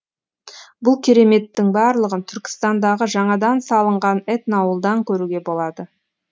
бұл кереметтің барлығын түркістандағы жаңадан салынған этноауылдан көруге болады